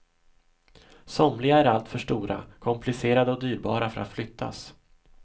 Somliga är alltför stora, komplicerade och dyrbara för att flyttas.